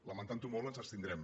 lamentantho molt ens abstindrem